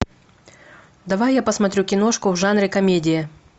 давай я посмотрю киношку в жанре комедия